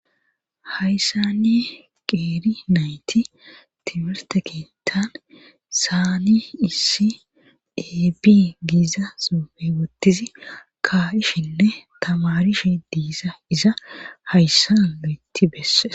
Hayssanni qeeri nayti tibirte keettan saani issi ebi giiza sufe wottizi kaa7ishinne tamarishi diisa iza hayssaloetti beesse.